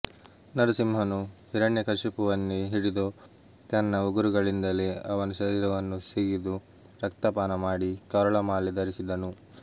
ನರಸಿಂಹನು ಹಿರಣ್ಯಕಶಿಪುವನ್ನೇ ಹಿಡಿದು ತನ್ನ ಉಗುರುಗಳಿಂದಲೇ ಅವನ ಶರೀರವನ್ನು ಸಿಗಿದು ರಕ್ತಪಾನ ಮಾಡಿ ಕರುಳಮಾಲೆ ಧರಿಸಿದನು